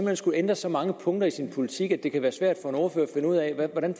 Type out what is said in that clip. hen skullet ændre så mange punkter i sin politik at det kan være svært for en ordfører at finde ud af hvordan